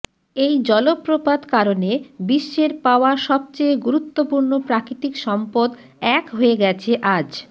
এই জলপ্রপাত কারণে বিশ্বের পাওয়া সবচেয়ে গুরুত্বপূর্ণ প্রাকৃতিক সম্পদ এক হয়ে গেছে আজ